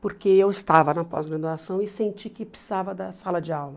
porque eu estava na pós-graduação e senti que precisava da sala de aula.